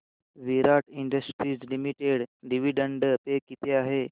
विराट industries limited dividend pay किती आहे